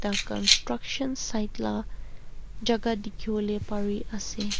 ekta construction site laga jagah dekhi bole pari ase.